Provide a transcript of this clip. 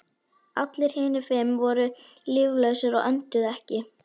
Allir hinir fimm voru líflausir og önduðu ekki.